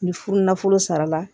Ni furu nafolo sara la